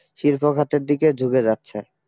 শিল্প খাতের দিকে ঝুকে যাচ্ছে